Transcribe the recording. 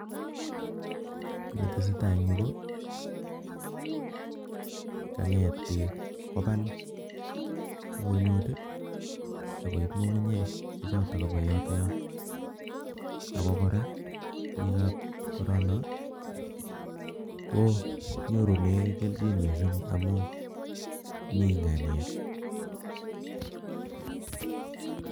Kiy ne tesetai en yu, ko kang'et beek kobal ng'unyut, akoib ng'ung'unyek che chotok kobo yotoyon. Ago kora, biik ab korono, konyorune kelchin missing amu mi ng'aniek